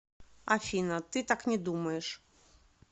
афина ты так не думаешь